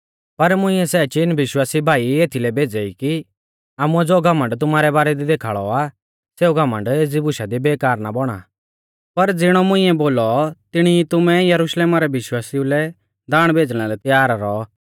पर मुंइऐ सै चीन विश्वासी भाई एथलै भेज़ै ई कि आमुऐ ज़ो घमण्ड तुमारै बारै दी देखाल़ौ आ सेऊ घमण्ड एज़ी बुशा दी बेकार ना बौणा पर ज़िणौ मुंइऐ बोलौ तिणी ई तुमैं यरुशलेमा रै विश्वासिऊ लै दाण भेज़णा लै त्यार रौऔ